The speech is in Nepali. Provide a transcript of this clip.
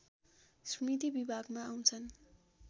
स्मृति विभागमा आउँछन्